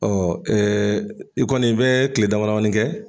i kɔni i bɛ kile dama damani kɛ.